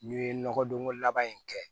N'i ye nɔgɔdonko laban in kɛ